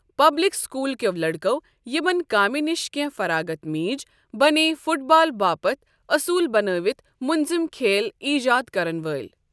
Public school کٮ۪و لٔڑکو ، یمن كامہِ نِشہِ کٮ۪نٛہہ فراغتھ میج ، بنییہِ فٹ بال باپت اصوُل بناوتھ مُنضم كھیل ایجاد كرن وٲلۍ۔